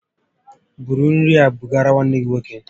Búrú nri a bugara nwanne gị nwoke!